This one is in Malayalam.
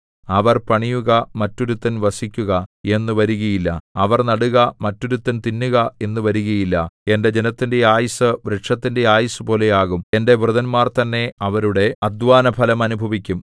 അവർ പണിയുക മറ്റൊരുത്തൻ വസിക്കുക എന്നു വരുകയില്ല അവർ നടുക മറ്റൊരുത്തൻ തിന്നുക എന്നും വരുകയില്ല എന്റെ ജനത്തിന്റെ ആയുസ്സു വൃക്ഷത്തിന്റെ ആയുസ്സുപോലെ ആകും എന്റെ വൃതന്മാർതന്നെ അവരുടെ അദ്ധ്വാനഫലം അനുഭവിക്കും